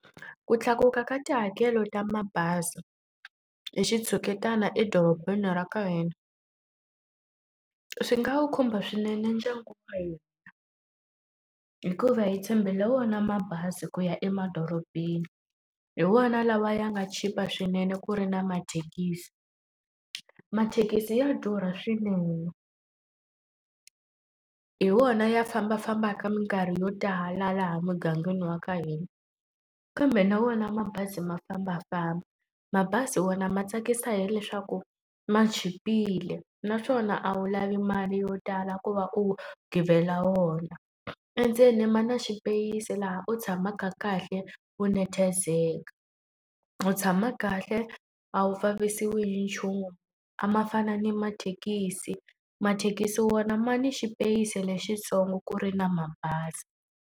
Ku tlakuka ka tihakelo ta mabazi hi xitshuketana edorobeni ra ka hina, swi nga wu khumba swinene ndyangu wa ka hina hikuva hi tshembele wona mabazi ku ya emadorobeni. Hi wona lawa ya nga chipa swinene ku ri na mathekisi, mathekisi ya durha swinene. Hi wona ya fambafambaka mikarhi yo tala laha mugangeni wa ka hina, kambe na wona mabazi ma fambafamba. Mabazi wona ma tsakisa hileswaku ma chipile naswona a wu lavi mali yo tala ku va u givela wona. Endzeni ma na xipeyisi laha u tshamaka kahle u nathazela, u tshama kahle a wu vavisiwi hi nchumu. A ma fani na mathekisi, mathekisi wona ma ni xipeyisi lexitsongo ku ri na mabazi.